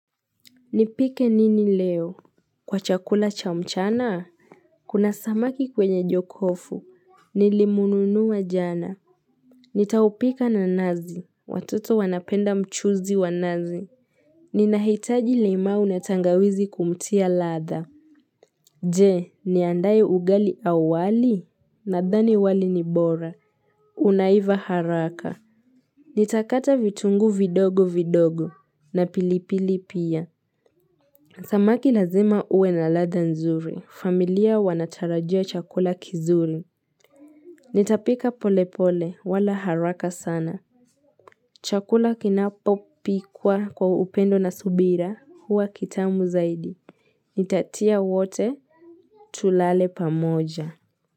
Nipike nini leo kwa chakula cha mchana kuna samaki kwenye jokofu nilimnunua jana nitaupika na nazi watoto wanapenda mchuzi wa nazi ninahitaji limau natangawizi kumtia ladha jee niandaye ugali au wali nadhani wali ni bora unaiva haraka nitakata vitunguu vidogo vidogo na pilipili pia Samaki lazima ue na ladha nzuri. Familia wanatarajia chakula kizuri. Nitapika pole pole wala haraka sana. Chakula kinapo pikwa kwa upendo na subira huwa kitamu zaidi. Nitatia wote tulale pamoja.